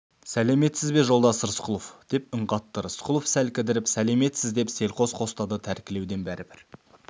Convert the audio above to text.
сәлеметсіз бе жолдас рысқұлов деп үн қатты рысқұлов сәл кідіріп сәлеметсіз деп селқос қостады тәркілеуден бәрібір